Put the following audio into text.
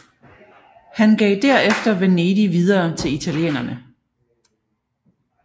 Han gav derefter Venedig videre til italienerne